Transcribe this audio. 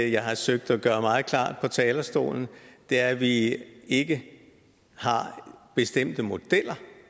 jeg har forsøgt at gøre meget klart fra talerstolen er at vi ikke har bestemte modeller